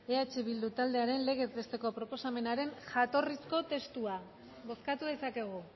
eh bildu taldearen legez besteko proposamenaren jatorrizko testua bozkatu dezakegu